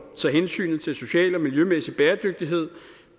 så hensynet til social og miljømæssig bæredygtighed